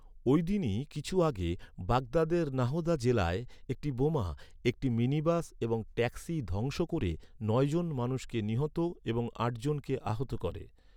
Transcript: ওই দিনই কিছু আগে, বাগদাদের নাহদা জেলায় একটি বোমা একটি মিনিবাস এবং ট্যাক্সি ধ্বংস ক'রে, নয়জন মানুষকে নিহত এবং আটজনকে আহত করে।